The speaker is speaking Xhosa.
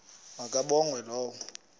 ma kabongwe low